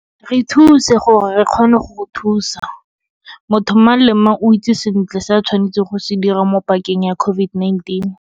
Re thuse gore re kgone go go thusa. Motho mang le mang o itse sentle se a tshwanetseng go se dira mo pakeng ya COVID-19.